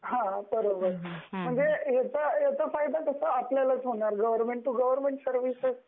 हा बरोबर, म्हणजे याचा फायदा कसा आपल्यालाच होणार गवर्मेंट टू गवर्मेंट सर्व्हिसेस